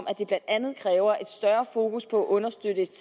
at det blandt andet kræver et større fokus på understøttelsen